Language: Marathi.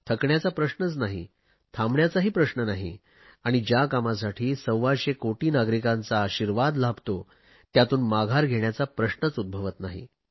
थकण्याचा प्रश्नच नाही थांबण्याचाही प्रश्न नाही आणि ज्या कामासाठी सव्वाशे कोटी नागरिकांचा आशिर्वाद लाभतो त्यातून माघार घेण्याचा प्रश्नच उद्भवत नाही